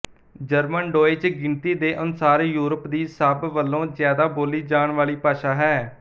German Deutsch ਗਿਣਤੀ ਦੇ ਅਨੁਸਾਰ ਯੂਰਪ ਦੀ ਸਭ ਵਲੋਂ ਜਿਆਦਾ ਬੋਲੀ ਜਾਣ ਵਾਲੀ ਭਾਸ਼ਾ ਹੈ